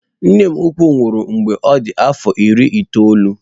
Nne m ukwu nwụrụ mgbe ọ dị afọ iri itoolu.